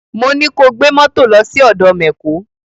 Mo ní ko gbé mọ́tò lọ sí ọ̀dọ mẹ̀kó!